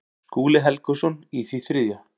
Skúli Helgason í því þriðja.